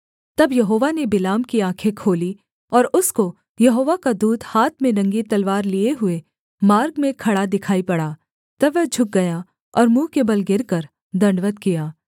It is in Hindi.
तब यहोवा ने बिलाम की आँखें खोलीं और उसको यहोवा का दूत हाथ में नंगी तलवार लिये हुए मार्ग में खड़ा दिखाई पड़ा तब वह झुक गया और मुँह के बल गिरकर दण्डवत् किया